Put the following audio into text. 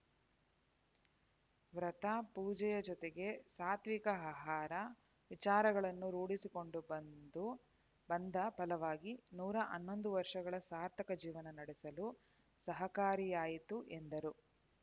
ವ್ರತ ಪೂಜೆಯ ಜೊತೆಗೆ ಸಾತ್ವಿಕ ಆಹಾರ ವಿಚಾರಗಳನ್ನು ರೂಢಿಸಿಕೊಂಡು ಬಂದು ಬಂದ ಫಲವಾಗಿ ನೂರ ಹನ್ನೊಂದು ವರ್ಷಗಳ ಸಾರ್ಥಕ ಜೀವನ ನಡೆಸಲು ಸಹಕಾರಿಯಾಯಿತು ಎಂದರು